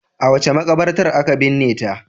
A wace makabartar aka binne ta?